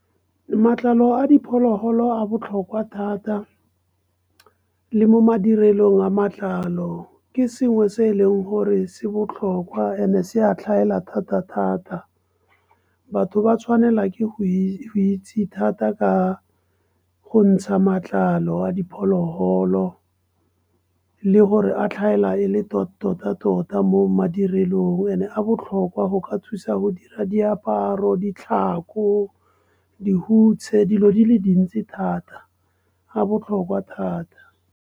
Matlalo a dipholoholo a botlhokwa thata, le mo madirelong a matlalo. Ke sengwe se e leng gore se botlhokwa and-e se a tlhaela thata-thata. Batho ba tshwanela ke go itse thata ka go ntsha matlalo a dipholoholo. Le gore a tlhaela e le tota-tota mo madirelong. And-e a botlhokwa go ka thusa go ka dira diaparo, ditlhako, dihutshe, dilo di le dintsi thata a botlhokwa thata.